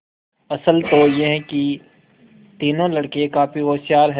असल तो यह कि तीनों लड़के काफी होशियार हैं